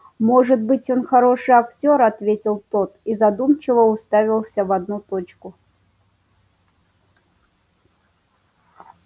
может быть он хороший актёр ответил тот и задумчиво уставился в одну точку